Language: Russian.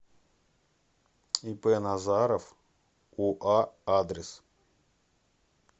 ип назаров уа адрес